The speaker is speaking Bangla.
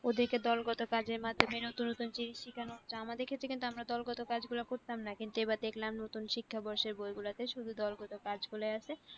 ওদেরকে দরগত কাজের মাধ্যমে নতুন নতুন জিনিস শিখানো হচ্ছে, আমাদের ক্ষেত্রে কিন্তু আমরা দরগত কাজ গুলা করতাম না, কিন্তু এবার দেখলাম নতুন শিক্ষাবর্ষের বই গুলাতে শুধু দরগত কাজগুলা আছে।